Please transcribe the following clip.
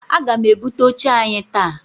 Aga m ebute oche anyị taa.